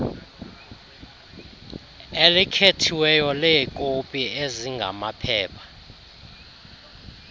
elikhethiweyo leekopi ezingamaphepha